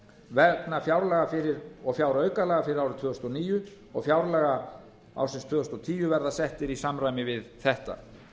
vegna fjáraukalaga fyrir árið tvö þúsund og níu og fjárlaga ársins tvö þúsund og tíu verða settir í samræmi við þetta